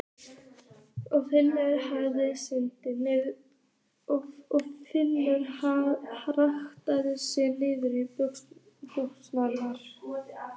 Og finnur hjartað síga niður í buxurnar.